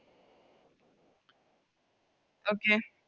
Okay